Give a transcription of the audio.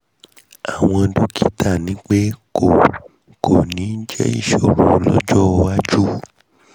àmọ́ dọ́kítà ní pé kò kò ní jẹ́ ìṣòro lọ́jọ́ iwájú